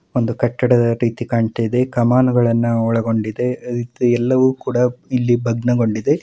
ಒಂದು ಕಟ್ಟಡದ ರೀತಿ ಕಾಣ್ತಾ ಇದೆ ಕಾಮಾನುಗಳನ್ನು ಒಳಗೊಂಡಿದೆ ಎಲ್ಲವೂ ಕೂಡ ಇಲ್ಲಿ ಭಗ್ನಗೊಂಡಿದೆ.--